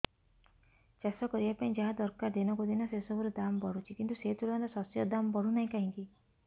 ଚାଷ କରିବା ପାଇଁ ଯାହା ଦରକାର ଦିନକୁ ଦିନ ସେସବୁ ର ଦାମ୍ ବଢୁଛି କିନ୍ତୁ ସେ ତୁଳନାରେ ଶସ୍ୟର ଦାମ୍ ବଢୁନାହିଁ କାହିଁକି